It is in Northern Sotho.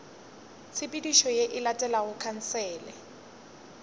tshepedišo ye e latelago khansele